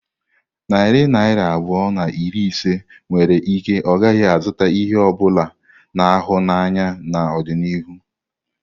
Narị naira abụọ na iri ise nwere ike ọ gaghị azụta ihe ọ bụla a na-ahụ anya n'ọdịnihu.